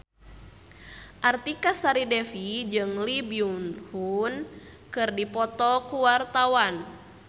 Artika Sari Devi jeung Lee Byung Hun keur dipoto ku wartawan